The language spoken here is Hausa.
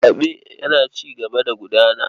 Zaɓe yana cigaba da gudana.